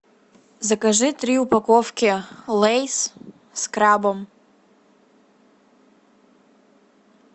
закажи три упаковки лейс с крабом